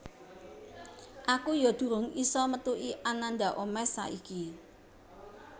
Aku yo durung iso methuki Ananda Omesh saiki